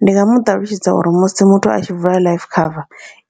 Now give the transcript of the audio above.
Ndi nga muṱalutshedza uri musi muthu a tshi vula life cover